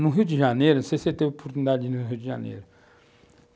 No Rio de Janeiro, não sei se você teve oportunidade no Rio de Janeiro.